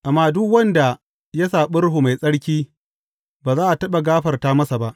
Amma duk wanda ya saɓi Ruhu Mai Tsarki, ba za a taɓa gafara masa ba.